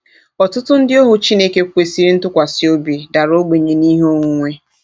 Ọtụtụ ndị ohu Chineke kwesịrị ntụkwasị obi dara ogbenye n'ihe onwunwe.